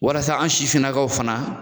Walasa an sifinnakaw fana